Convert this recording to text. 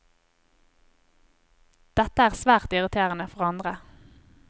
Dette er svært irriterende for andre.